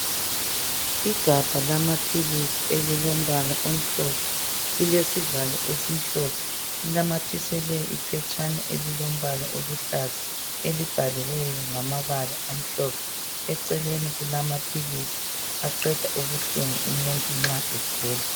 igabha lamaphilisi elilombala omhlophe lilesivalo esimhlophe linamathiselwe iphetshana eliluhlaza elibhaliweyo ngamabala amhlophe eceleni kulamaphilisis aqeda ubuhlungu nxa umuntu egula